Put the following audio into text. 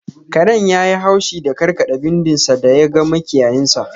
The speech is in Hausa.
Karen yayi haushi da karkada bindin sa da ya ga makiyayinshi.